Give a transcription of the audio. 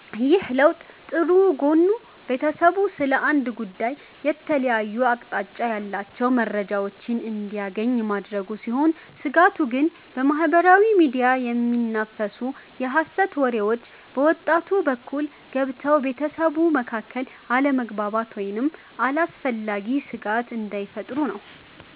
ይህ ለውጥ ጥሩ ጎኑ ቤተሰቡ ስለ አንድ ጉዳይ የተለያየ አቅጣጫ ያላቸውን መረጃዎች እንዲያገኝ ማድረጉ ሲሆን፤ ስጋቱ ግን በማኅበራዊ ሚዲያ የሚናፈሱ የሐሰት ወሬዎች በወጣቱ በኩል ገብተው በቤተሰቡ መካከል አለመግባባት ወይም አላስፈላጊ ስጋት እንዳይፈጥሩ ነው።